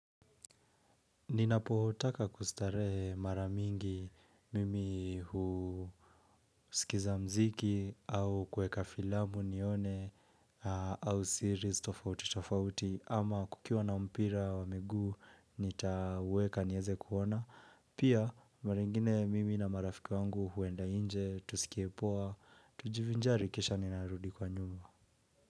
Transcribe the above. Ninapotaka kustarehe mara mingi mimi huskiza mziki au kuweka filamu nione au series tofauti tofauti ama kukiwa na mpira wa miguu nitaweka nieze kuona pia mara ingine mimi na marafiki wangu huenda nje tusikie poa tujivinjari kisha ninarudi kwa nyumba.